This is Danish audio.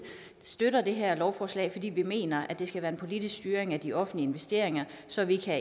støtter det her lovforslag fordi vi mener at det skal være en politisk styring af de offentlige investeringer så vi kan